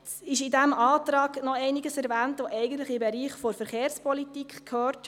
Es ist in diesem Antrag noch einiges erwähnt, das eigentlich in den Bereich der Verkehrspolitik gehört.